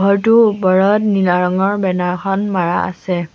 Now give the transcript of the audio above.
ঘৰটোৰ ওপৰত নীলা ৰঙৰ বেনাৰ এখন মাৰা আছে।